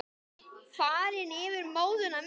Farin yfir móðuna miklu.